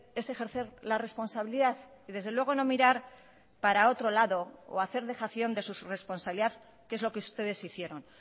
es ejercer la responsabilidad y desde luego no mirar para otro lado o hacer dejación de su responsabilidad que es lo que ustedes hicieron